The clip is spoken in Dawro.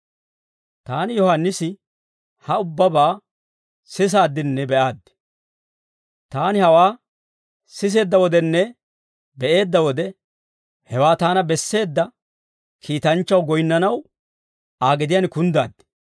Taani Yohaannisi, ha ubbabaa sisaaddinne be'aaddi. Taani hawaa siseedda wodenne be'eedda wode, hewaa taana besseedda kiitanchchaw goyinnanaw, Aa gediyaan kunddaad.